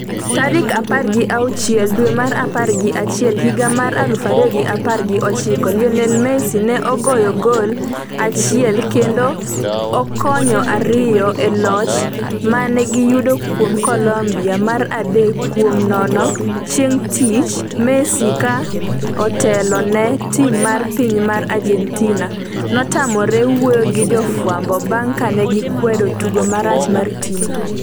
tarik apar gi auchiel dwe mar apar gi achiel higa mar aluf ariyo gi apar gi ochiko. Lionel Messi ne ogoyo gol achiel kendo okonyo ariyo e loch mane giyudo kuom Colombia mar adek kuom nono chieng' tich Messi ka otelone tim mar piny mar Argentina notamore wuoyo gi jofwambo bang' kane gikwedo tugo marach mar tim no